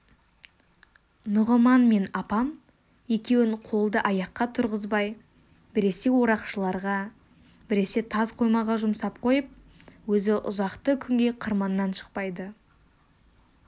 нұғыман мен апам екеуін қолды-аяққа тұрғызбай біресе орақшыларға біресе тас қоймаға жұмсап қойып өзі ұзақты күнге қырманнан шықпайды